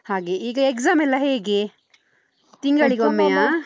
ಹಾಗೆ. ಈಗ exam ಎಲ್ಲ ಹೇಗೆ? ತಿಂಗಳಿಗೊಮ್ಮೆಯಾ?